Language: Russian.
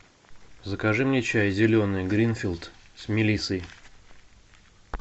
закажи мне чай зеленый гринфилд с мелиссой